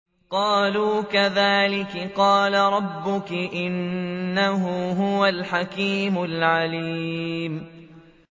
قَالُوا كَذَٰلِكِ قَالَ رَبُّكِ ۖ إِنَّهُ هُوَ الْحَكِيمُ الْعَلِيمُ